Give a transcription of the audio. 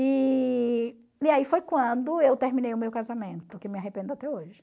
E e aí foi quando eu terminei o meu casamento, que me arrependo até hoje.